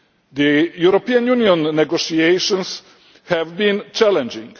The European Union negotiations have been challenging.